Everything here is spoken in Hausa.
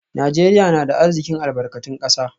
Najeriya na da arzikin albarkatun kasa